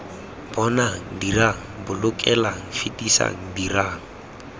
bonang dirang bolokelang fetisang dirang